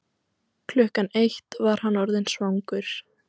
Klukkan eitt var hann orðinn svangur.